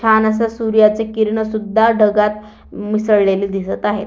छान असा सूर्याचे किरण सुद्धा ढगात मिसळलेले दिसत आहेत.